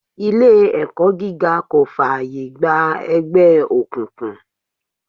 Ilé ẹ̀kọ́ gíga kò fààyè gba ẹgbẹ́ òkùnkùn.